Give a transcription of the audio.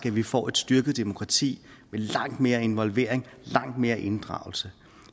vi får et styrket demokrati med langt mere involvering langt mere inddragelse